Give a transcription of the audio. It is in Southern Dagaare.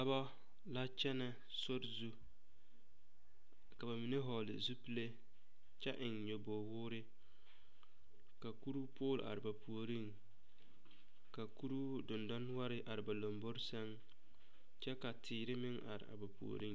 Dɔba la kyɛnɛ sori zu ka ba mine vɔgle zupile kyɛ eŋ nyɔbogre woore ka kuri poooli are ba puoriŋ ka kuri dendɔnoɔre are ba lambogre sɛŋ kyɛ ka teere meŋ are ba puoriŋ .